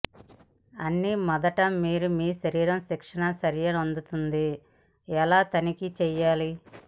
అన్ని మొదటి మీరు మీ శరీరం శిక్షణ చర్యనొందుతుంది ఎలా తనిఖీ చేయాలి